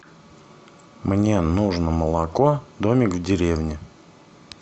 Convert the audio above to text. мне нужно молоко домик в деревне